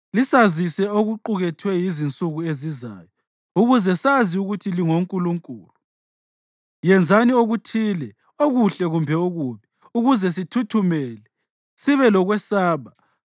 lisazise okuqukethwe yizinsuku ezizayo, ukuze sazi ukuthi lingonkulunkulu. Yenzani okuthile, okuhle kumbe okubi, ukuze sithuthumele, sibe lokwesaba.